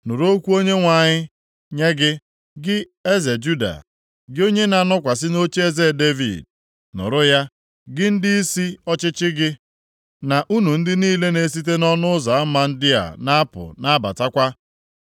‘Nụrụ okwu Onyenwe anyị, nye gị, gị eze Juda, gị onye na-anọkwasị nʼocheeze Devid. Nụrụ ya, gị na ndịisi ọchịchị gị, na unu ndị niile na-esite nʼọnụ ụzọ ama ndị a na-apụ na-abatakwa.